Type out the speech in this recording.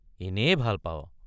এনেয়ে ভাল পাৱ!